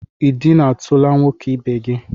I dina tula nwoke ibe gi?